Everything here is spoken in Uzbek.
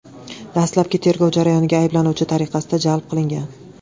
dastlabki tergov jarayoniga ayblanuvchi tariqasida jalb qilingan.